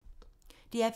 DR P2